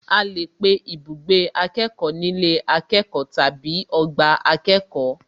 A lè pe ibùgbé akẹ́kọ̀ọ́ ní ilé akẹ́kọ̀ọ́ tàbí ọgbà akẹ́kọ̀ọ́